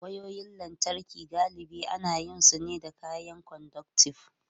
Wayoyin lantarki galibi ana yin su ne da kayan conductive.